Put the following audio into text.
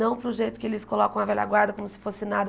Não para o jeito que eles colocam a velha guarda como se fosse nada.